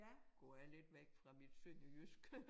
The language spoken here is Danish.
Går jeg lidt væk fra mit sønderjyske